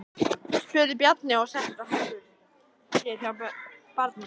spurði Bjarni og settist á hækjur sér hjá barninu.